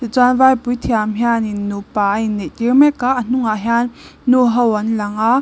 chuan vai puithiam hianin nupa a inneih tir mek a a hnungah hian nu ho an lang a.